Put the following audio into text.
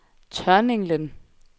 Tørninglen